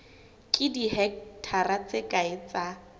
ke dihekthara tse kae tsa